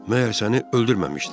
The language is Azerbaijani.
Məyər səni öldürməmişdilər?